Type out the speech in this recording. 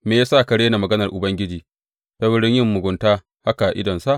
Me ya sa ka rena maganar Ubangiji ta wurin yin mugunta haka a idonsa?